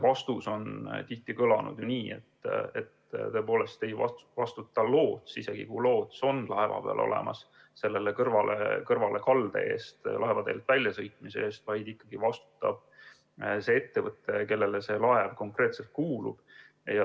Vastus on tihti kõlanud nii, et isegi kui loots on laeva peal olemas, ei vastuta selle kõrvalekalde, laevateelt väljasõitmise eest loots, vaid ikkagi vastutab ettevõte, kellele laev konkreetselt kuulub.